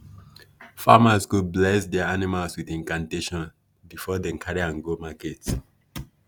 farmers go bless their animals with incantation before dem carry am go market.